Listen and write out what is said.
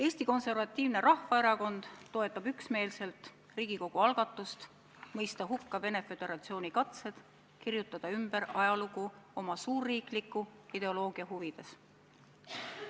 Eesti Konservatiivne Rahvaerakond toetab üksmeelselt Riigikogu algatust mõista hukka Venemaa Föderatsiooni katsed kirjutada ümber ajalugu oma suurriikliku ideoloogia huvides.